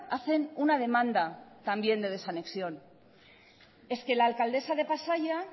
hacen una demanda también de desanexión es que la alcaldesa de pasaia